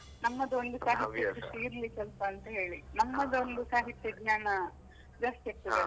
ನಮ್ಮದು ಒಂದು ಇರ್ಲಿ ಸ್ವಲ್ಪ ಅಂತ ಹೇಳಿ, ಸಾಹಿತ್ಯ ಜ್ಞಾನ ಜಾಸ್ತಿ ಆಗ್ತದೆ ಅಲಾ.